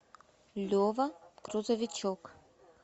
лева грузовичок